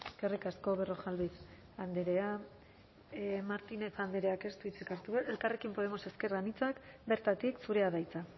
eskerrik asko berrojalbiz andrea martínez andreak ez du hitzik hartuko elkarrekin podemos ezker anitzak bertatik zurea da hitza